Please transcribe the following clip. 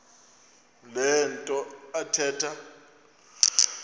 le nto athetha